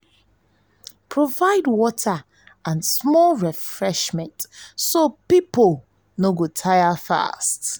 provide water and small refreshment so people so people no go tire fast.